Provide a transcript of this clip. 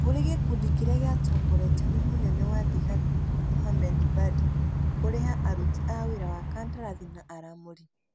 kũrĩ gĩkundi kĩrĩa gĩatongoretio nĩ mũnene wa thigari Mohammed Badi. Kũrĩha aruti wĩra wa kandarathi, na aramũri.